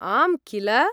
आम्, किल?